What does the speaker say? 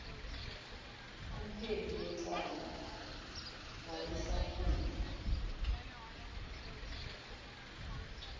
umphenyi wecala wayesafuna